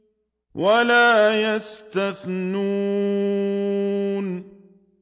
وَلَا يَسْتَثْنُونَ